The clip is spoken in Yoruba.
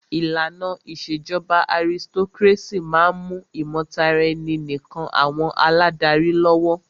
ìlànà ìṣèjọba aristocrácy máà ń mú ìmọ̀taraẹni nìkàn àwọn aládarí lọ́wọ́.